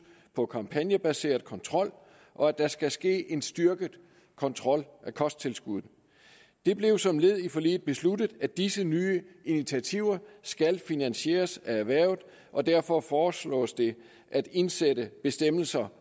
på kampagnebaseret kontrol og at der skal ske en styrket kontrol af kosttilskuddene det blev som led i forliget besluttet at disse nye initiativer skal finansieres af erhvervet og derfor foreslås det at indsætte bestemmelser